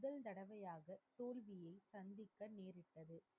முதல் தடவையாக தோல்வியை சந்தித்த